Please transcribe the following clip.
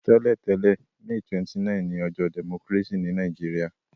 Tẹ́lẹ̀tẹ̀lẹ́, May 29 ni ojọ́ democracy ni Naijiria